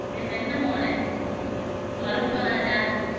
டேய் வெண்ணெய் மவனே வணக்கம் ராஜா